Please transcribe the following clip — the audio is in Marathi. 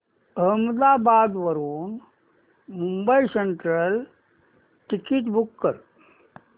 अहमदाबाद वरून मुंबई सेंट्रल टिकिट बुक कर